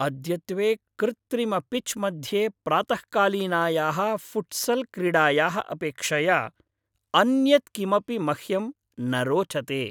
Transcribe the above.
अद्यत्वे कृत्रिमपिच् मध्ये प्रातःकालीनायाः फ़ुट्सल् क्रीडायाः अपेक्षया अन्यत् किमपि मह्यं न रोचते।